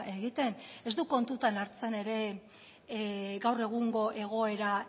egiten ez du kontutan hartzen ere gaur egungo egoera